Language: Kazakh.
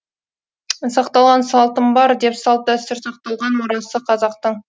сақталған салтым бар де салт дәстүр сақталған мұрасы қазақтың